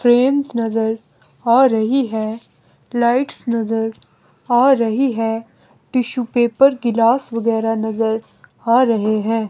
Frames नजर आ रही है लाइट्स नजर आ रही है टिशू पेपर गिलास वगैरह नजर आ रहे हैं।